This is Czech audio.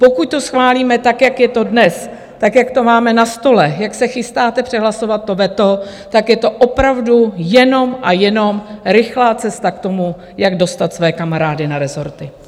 Pokud to schválíme, tak jak je to dnes, tak jak to máme na stole, jak se chystáte přehlasovat to veto, tak je to opravdu jenom a jenom rychlá cesta k tomu, jak dostat své kamarády na rezorty.